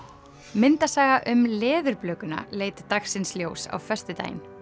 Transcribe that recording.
myndasaga um leit dagsins ljós á föstudaginn